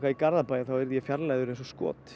í Garðabæ yrði ég fjarlægður eins og skot